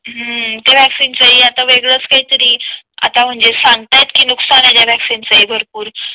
हम्म त्या वैक्सीन चा हि आता वेगळाच काहीतरी आता म्हणजे सांगता आहे नुकसान आहे त्या वैक्सीन च भरपूर